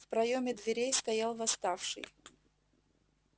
в проёме дверей стоял восставший